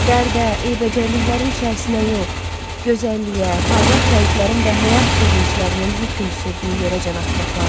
Dərdə, eybəcərliklərin içərisinə yox, gözəlliyə, parlaq rənglərin və həyat sevinclərinin hökm sürdüyü yerə can atmaq lazımdır.